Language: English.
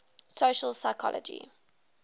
social psychology